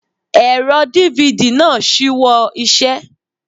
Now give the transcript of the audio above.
Ẹ̀rọ DVD náà ṣíwọ́ iṣẹ́.